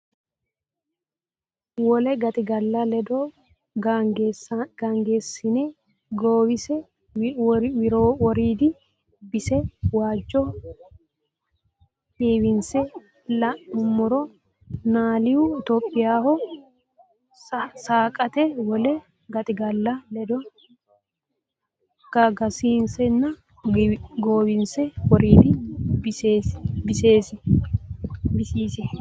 Wole gaxigalla ledo Gagasisenna goowise woriidi bisise waajjo heewinse la nummoro Niyaalu Itophiyaho saaqaati Wole gaxigalla ledo Gagasisenna goowise woriidi bisise.